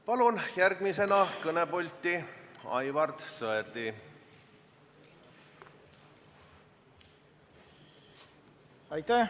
Palun järgmisena kõnepulti Aivar Sõerdi!